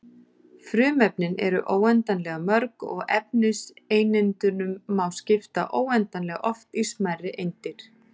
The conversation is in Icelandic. Frumefnin eru óendanlega mörg og efniseindunum má skipta óendanlega oft í smærri eindir.